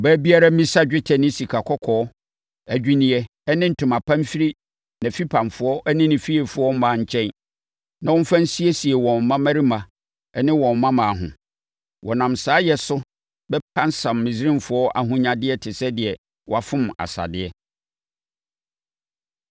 Ɔbaa biara mmisa dwetɛ ne sikakɔkɔɔ adwinneɛ ne ntoma pa mfiri nʼafipamfoɔ ne ne fiefoɔ mmaa nkyɛn na wɔmfa nsiesie wɔn mmammarima ne wɔn mmammaa ho. Wɔnam saa yɛ so bɛpansam Misraimfoɔ ahonyadeɛ te sɛ deɛ wɔafom asadeɛ.”